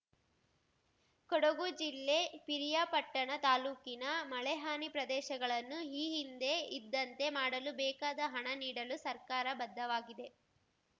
ಕೊಡಗು ಜಿಲ್ಲೆ ಪಿರಿಯಾಪಟ್ಟಣ ತಾಲೂಕಿನ ಮಳೆ ಹಾನಿ ಪ್ರದೇಶಗಳನ್ನು ಈ ಹಿಂದೆ ಇದ್ದಂತೆ ಮಾಡಲು ಬೇಕಾದ ಹಣ ನೀಡಲು ಸರ್ಕಾರ ಬದ್ಧವಾಗಿದೆ